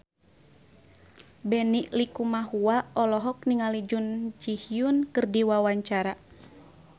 Benny Likumahua olohok ningali Jun Ji Hyun keur diwawancara